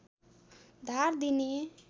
धार दिने